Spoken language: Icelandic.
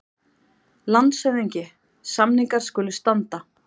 LANDSHÖFÐINGI: Samningar skulu standa.